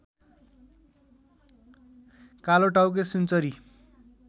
कालोटाउके सुनचरी